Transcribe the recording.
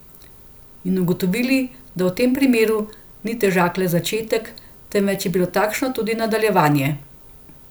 In ugotovili, da v tem primeru ni težak le začetek, temveč je bilo takšno tudi nadaljevanje.